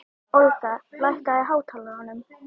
Olga, lækkaðu í hátalaranum.